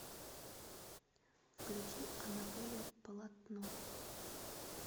включи анатолий полотно